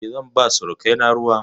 E, zan ba surukaina ruwa.